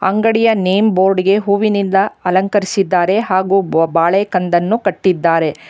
ಅಂಗಡಿಯ name board ಗೆ ಹೂವಿನಿಂದ ಅಲಂಕರಿಸಿದ್ದಾರೆ ಹಾಗು ಬಾಳೆ ಕಂದನ್ನು ಕಟ್ಟಿದ್ದಾರೆ.